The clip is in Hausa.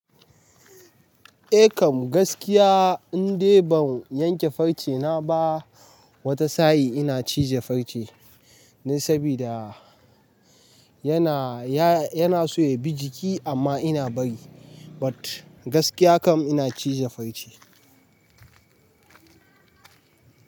Eh kam gaskiya, in dai ban yanke farce na ba, wata sa'i ina cije farce. Ne sabida yana, ya, yana so ya bi jiki amma ina bari. But gaskiya kam ina cije farce.